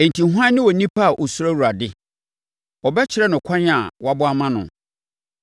Enti hwan ne onipa a ɔsuro Awurade? Ɔbɛkyerɛ no kwan a wabɔ ama no.